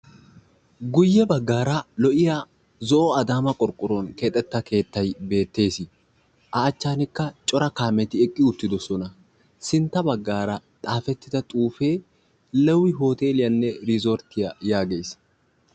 guyye baggara lo"iyaa zo'o adaman qorqqoruwaan keexxetida keettay a achchanikka cora kaameti eqqi uttidoosona ; sintta baggar xaafetidd axuufe lewi hooteliyaanne irizzorttiyaa yaagees/